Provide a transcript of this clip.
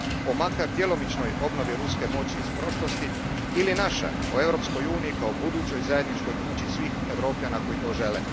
o makar djelomičnoj obnovi ruske moći iz prošlosti ili naša o Europskoj uniji kao budućoj zajedničkoj kući svih Europljana koji to žele.